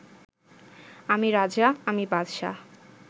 আমি রাজা, আমি বাদশাহ